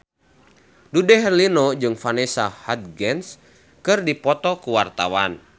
Dude Herlino jeung Vanessa Hudgens keur dipoto ku wartawan